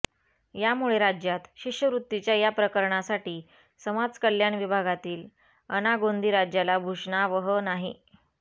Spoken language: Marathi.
यामुळे राज्यात शिष्यवृत्तीच्या या प्रकरणासाठी समाजकल्याण विभागातील अनागोंदी राज्याला भूषणावह नाही